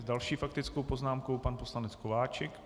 S další faktickou poznámkou pan poslanec Kováčik.